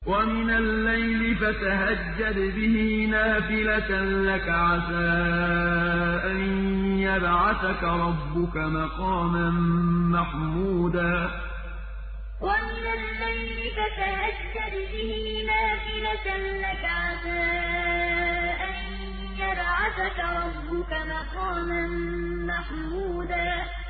وَمِنَ اللَّيْلِ فَتَهَجَّدْ بِهِ نَافِلَةً لَّكَ عَسَىٰ أَن يَبْعَثَكَ رَبُّكَ مَقَامًا مَّحْمُودًا وَمِنَ اللَّيْلِ فَتَهَجَّدْ بِهِ نَافِلَةً لَّكَ عَسَىٰ أَن يَبْعَثَكَ رَبُّكَ مَقَامًا مَّحْمُودًا